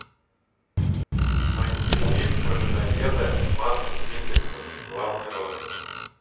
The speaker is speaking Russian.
найти фильм про людоеда с мадсом миккельсеном в главной роли